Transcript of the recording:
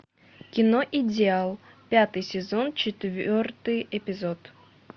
кино идеал пятый сезон четвертый эпизод